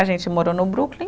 A gente morou no Brooklyn.